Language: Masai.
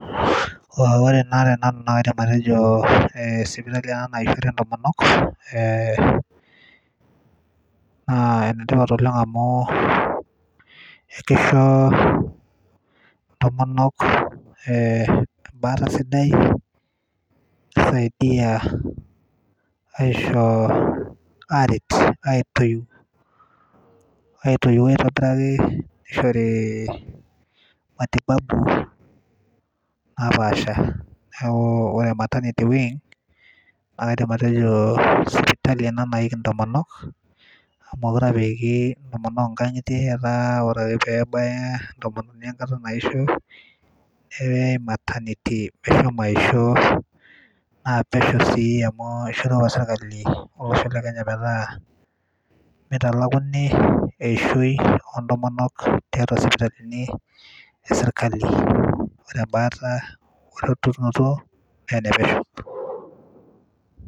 wore ena tenanu mnaa kaidim atejo sipitali ena naishore intomonok eh, naa enetipat oleng amu ekisho ntomonok eh, embaata sidai nisaidia aisho aret aitoiu aitobiraki nishori matibabu napaasha niaku ore maternity wing naa kaidim atejo sipitali ena naiki intomonok amu mokire apa eiki intomonok inkang'itie etaa wore ake pebaya entomononi enkata naisho neyai maternity meshomo aisho naa pesho sii amu ishorua apa sirkali olosho le kenya metaa mitalakuni eishoi ontomonok tiatua sipitalini e sirkali ore embaata werotunoto naa enepesho.